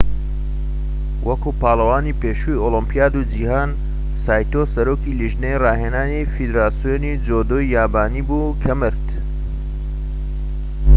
وەکو پاڵەوانی پێشووی ئۆلۆمپیاد و جیهان سایتۆ سەرۆکی لیژنەی ڕاهێنانی فیدراسیۆنی جودۆی یابانی بوو کە مرد